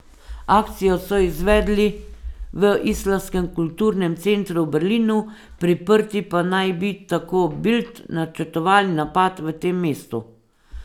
Akcijo so izvedli v islamskem kulturnem centru v Berlinu, priprti pa naj bi, tako Bild, načrtovali napad v tem mestu.